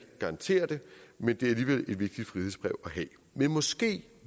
garantere det men det er alligevel et vigtigt frihedsbrev at have men måske